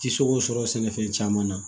Ti se k'o sɔrɔ sɛnɛfɛn caman na